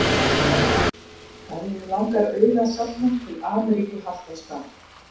Ef þig langar auði að safna til Ameríku haltu á stað.